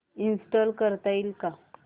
install करता येईल का